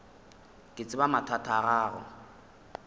ke tseba mathata a gago